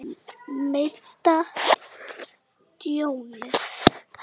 Meta tjónið.